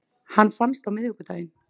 Hann fannst á miðvikudaginn